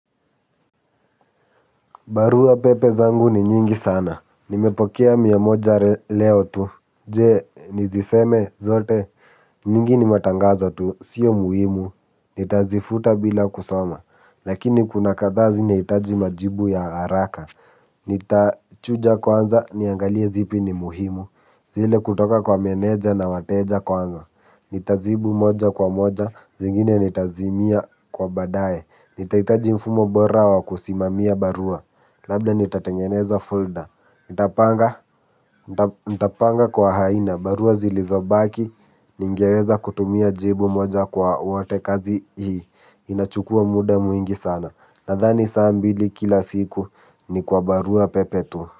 Barua pepe zangu ni nyingi sana. Nimepokea mia moja leo tu. Je, niziseme zote. Nyingi ni matangazo tu. Sio muhimu. Nitazifuta bila kusoma. Lakini kuna kadhaa zinahitaji majibu ya haraka. Nitachuja kwanza niangalie zipi ni muhimu. Zile kutoka kwa meneja na wateja kwanza. Nitajibu moja kwa moja, zingine nitazimia kwa baadaye nitahitaji mfumo bora wa kusimamia barua labda nitatengeneza folder nitapanga. Nitapanga kwa aina, barua zilizobaki. Ningeweza kutumia jibu moja kwa wote kazi hii. Inachukua muda mwingi sana nadhani saa mbili kila siku ni kwa barua pepe tu.